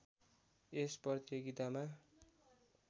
यस प्रतियोगितामा